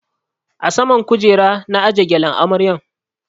A saman kujera na aje gyalen amaryan